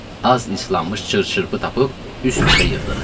Az islanmış çır-çırpı tapıb üst-üstə yığdıq.